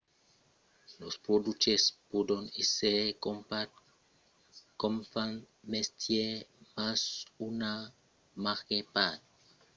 los produches pòdon èsser crompats com fan mestièr mas una màger part aurà pas gaire o pas cap d’impacte real sus la performància